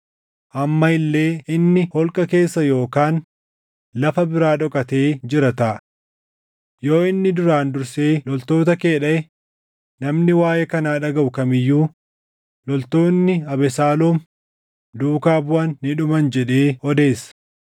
Amma illee inni holqa keessa yookaan lafa biraa dhokatee jira taʼa. Yoo inni duraan dursee loltoota kee dhaʼe, namni waaʼee kanaa dhagaʼu kam iyyuu, ‘Loltoonni Abesaaloom duuka buʼan ni dhuman’ jedhee odeessa.